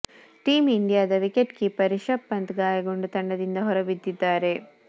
team ಇಂಡಿಯಾದ wicket keeper Rishabh Pant ಗಾಯಗೊಂಡು ತಂಡದಿಂದ ಹೊರಬಿದ್ದಿದ್ದಾರೆ